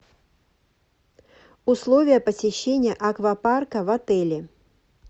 условия посещения аквапарка в отеле